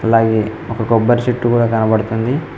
అలాగే ఒక కొబ్బరి చెట్టు కూడా కనబడుతుంది.